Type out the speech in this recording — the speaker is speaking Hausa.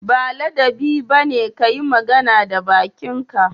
Ba ladabi ba ne ka yi magana da bakinka